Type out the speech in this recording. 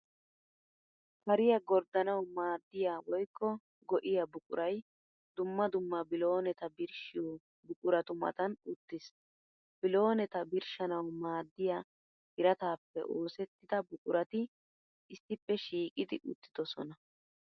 Kariyaa gorddanawu maaddiya woykko go'iya buquray dumma dumma bilooneta birshshiyo buquratu matan uttiis. Bilooneta birshshanawu maaddiya, birataappe oosettida buqurati issippe shiiqidi uttidosona